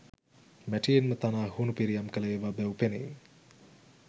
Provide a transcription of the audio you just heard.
මැටියෙන්ම තනා හුණු පිරියම් කළ ඒවා බැව් පෙනේ.